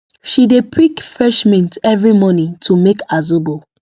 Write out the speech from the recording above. she dey pick fresh mint every morning to make her zobo